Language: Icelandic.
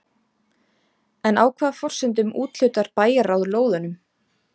En á hvaða forsendum úthlutar bæjarráð lóðunum?